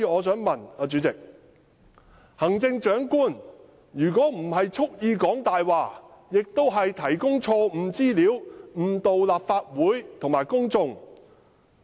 主席，行政長官即使不是蓄意說謊，也是提供錯誤的資料，誤導立法會和公眾。